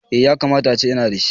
Eh. Yakamata ace ina da shi